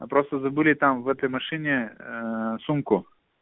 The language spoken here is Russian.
а просто забыли там в этой машине сумку